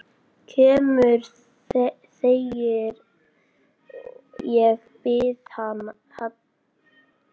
Kemur þegar ég bið hann.